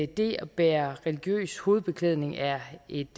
det at bære religiøs hovedbeklædning er et